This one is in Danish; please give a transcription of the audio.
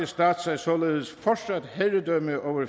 stat sig således fortsat herredømme over